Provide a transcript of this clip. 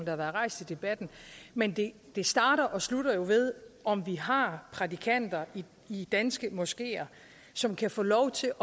har været rejst i debatten men det starter og slutter jo ved om vi har prædikanter i danske moskeer som kan få lov til